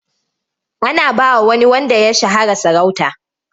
Ana ba wa wani wanda ya shahara sarauta.